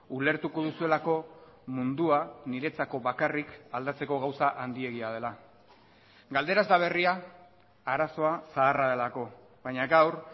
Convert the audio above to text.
ulertuko duzuelako mundua niretzako bakarrik aldatzeko gauza handiegia dela galdera ez da berria arazoa zaharra delako baina gaur